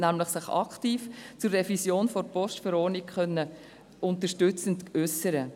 Er hat sich nämlich aktiv und unterstützend zur Revision der Postverordnung (VPG) geäussert.